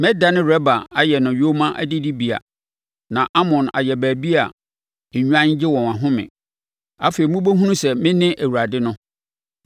Mɛdane Raba ayɛ no yoma adidibea na Amon ayɛ baabi a nnwan gye wɔn ahome. Afei mobɛhunu sɛ mene Awurade no.